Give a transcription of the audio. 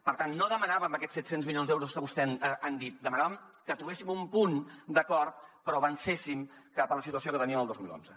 per tant no demanàvem aquests set cents milions d’euros que vostès han dit demanàvem que trobéssim un punt d’acord però que avancéssim cap a la situació que teníem el dos mil onze